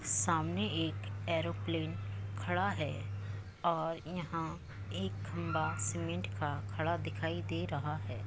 सामने एक एरोप्लेन खड़ा है और यहाँ एक खम्बा सीमेंट का खड़ा दिखाई दे रहा है।